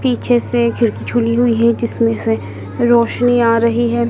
पीछे से खिड़की चुनी हुई है जिसमें से रोशनी आ रही है।